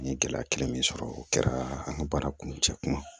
N ye gɛlɛya kelen min sɔrɔ o kɛra an ka baara kuncɛ kuma ye